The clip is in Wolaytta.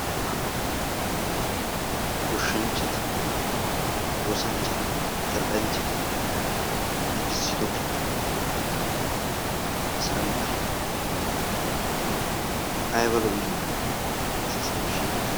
Ubba goshshanchchati oosanchchati zal'ianchchati giigissido santtayi laa ayiba lo"I! Issisan shiiqidaagee.